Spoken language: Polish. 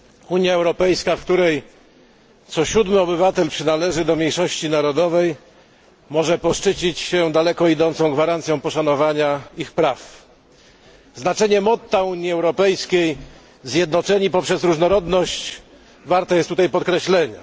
Unia Europejska, w której co siódmy obywatel przynależy do mniejszości narodowej może poszczycić się daleko idącą gwarancją poszanowania ich praw. Znaczenie motta Unii Europejskiej zjednoczeni w różnorodności warte jest tutaj podkreślenia.